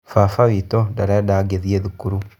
Baba witũ ndarenda ngĩthiĩ cukuru.